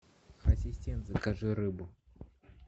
ассистент закажи рыбу